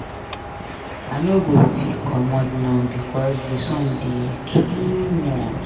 I no go fit comot now because di sun dey too much.